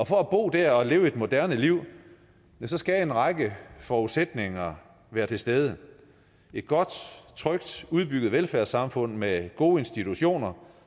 for at bo der og leve et moderne liv skal en række forudsætninger være til stede et godt trygt udbygget velfærdssamfund med gode institutioner